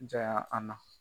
an na